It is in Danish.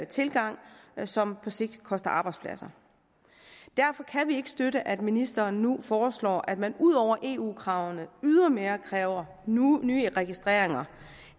tilgang som på sigt koster arbejdspladser derfor kan vi ikke støtte at ministeren nu foreslår at man ud over eu kravene ydermere kræver nye registreringer